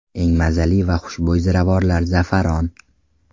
Eng mazali va xushbo‘y ziravorlar Za’faron.